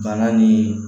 Bana ni